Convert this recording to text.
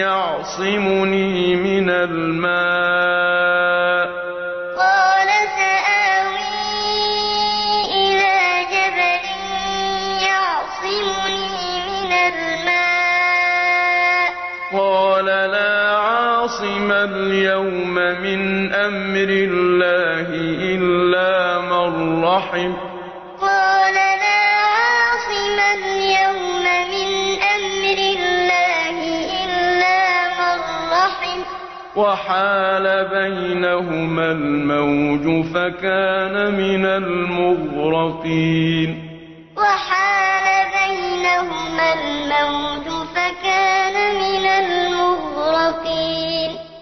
يَعْصِمُنِي مِنَ الْمَاءِ ۚ قَالَ لَا عَاصِمَ الْيَوْمَ مِنْ أَمْرِ اللَّهِ إِلَّا مَن رَّحِمَ ۚ وَحَالَ بَيْنَهُمَا الْمَوْجُ فَكَانَ مِنَ الْمُغْرَقِينَ قَالَ سَآوِي إِلَىٰ جَبَلٍ يَعْصِمُنِي مِنَ الْمَاءِ ۚ قَالَ لَا عَاصِمَ الْيَوْمَ مِنْ أَمْرِ اللَّهِ إِلَّا مَن رَّحِمَ ۚ وَحَالَ بَيْنَهُمَا الْمَوْجُ فَكَانَ مِنَ الْمُغْرَقِينَ